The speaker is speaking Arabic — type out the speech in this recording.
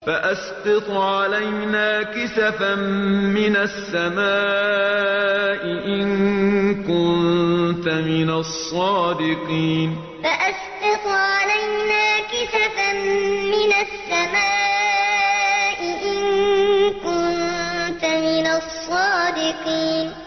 فَأَسْقِطْ عَلَيْنَا كِسَفًا مِّنَ السَّمَاءِ إِن كُنتَ مِنَ الصَّادِقِينَ فَأَسْقِطْ عَلَيْنَا كِسَفًا مِّنَ السَّمَاءِ إِن كُنتَ مِنَ الصَّادِقِينَ